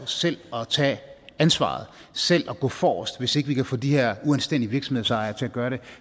selv at tage ansvaret selv at gå forrest hvis ikke vi kan få de her uanstændige virksomhedsejere til at gøre det